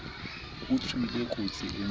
o tswile kotsi e mpe